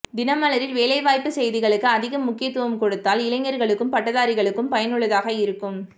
தினமலரில் வேலைவாய்ப்பு செய்திகளுக்கு அதிக முக்கியத்துவம் கொடுத்தால் இளைஞர்களுக்கும் பட்டதாரிகளுக்கும் பயனுள்ளதாக இருக்கும்